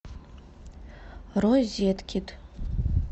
розеткед